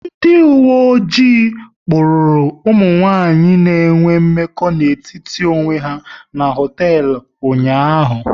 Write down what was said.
Ndị uwe ojii kpụrụru ụmụ nwanyị na enwe mmekọ n'etiti onwe ha n'hoteelu ụnyaahụ